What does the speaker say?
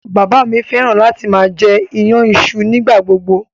Bàbá mi fẹ́ràn láti máa jẹ iyan iṣu nígbà gbogbo.